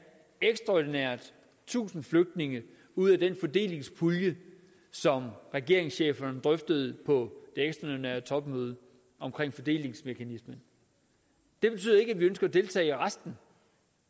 ekstraordinært tusind flygtninge ud af den fordelingspulje som regeringscheferne drøftede på det ekstraordinære topmøde om fordelingsmekanismen det betyder ikke at vi ønsker at deltage i resten